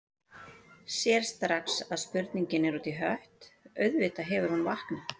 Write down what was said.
Sér strax að spurningin er út í hött, auðvitað hefur hún vaknað.